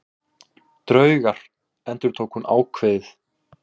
Draugar endurtók hún ákveðið.